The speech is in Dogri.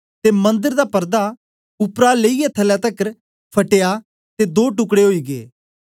ते मंदर दा पर्दा उपर तां थल्लै तकर फटियै दो टुकड़े ओई गै